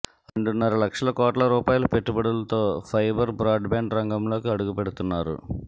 రెండున్నర లక్షల కోట్ల రూపాయల పెట్టుబడులతో ఫైబర్ బ్రాడ్బ్యాండ్ రంగంలోకి అడుగు పెడుతున్నారు